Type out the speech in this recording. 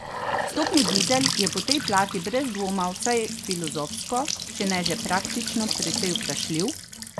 Vstopni dizel je po tej plati brez dvoma vsaj filozofsko, če ne že praktično precej vprašljiv!